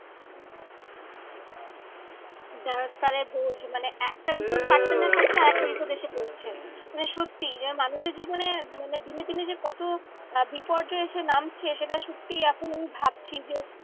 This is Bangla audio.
দেখ তাহলে বোঝ মানে একটা বিপদ কাটতে না কাটতে আর একটা বিপদ এসে পড়ছে। মানে সত্যি যেন মানুষের জীবনে মানে দিনে দিনে যে কত আহ বিপর্যয় এসে নামছে সেটা সত্যি এখন আমি ভাবছি যে